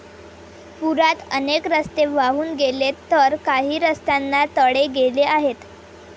पुरात अनेक रस्ते वाहून गेलेत तर काही रस्त्यांना तडे गेले आहेत.